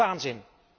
Waanzin!